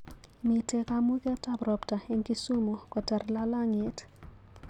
Mitee kamugetap ropta eng Kisumu kotar lalang'iet